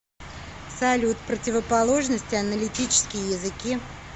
салют противоположность аналитические языки